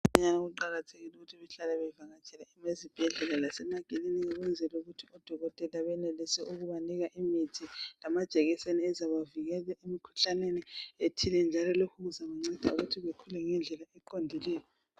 Kukhanya kuqakathekile ukuthi bahlale bevatshele ezibhedlela lasemakilinika ukuze odokotela benelise ukubanika imithi lamajekiseni ezabavikela emkhuhlaneni ethile njalo lokhu kuzabanceda ukuthi bakhule ngendlela eqondileyo.